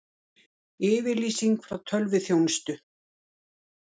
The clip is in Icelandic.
Yfirlýsing frá tölvuþjónustu